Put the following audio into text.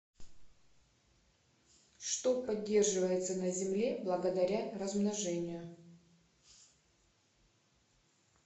что поддерживается на земле благодаря размножению